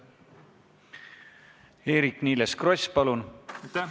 Eerik-Niiles Kross, palun!